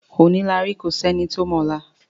Kò sí ẹni tó mọ ọ̀la.